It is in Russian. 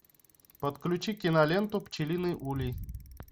подключи киноленту пчелиный улей